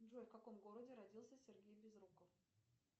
джой в каком городе родился сергей безруков